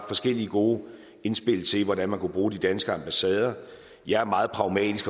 forskellige god indspil til hvordan man kunne bruge de danske ambassader jeg er meget pragmatisk